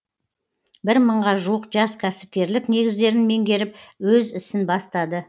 бір мыңға жуық жас кәсіпкерлік негіздерін меңгеріп өз ісін бастады